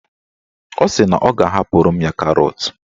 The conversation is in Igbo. Ọ sị na ọ ga-ahapụrụ ya karọt.